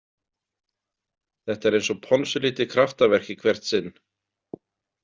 Þetta er eins og ponsulítið kraftaverk í hvert sinn.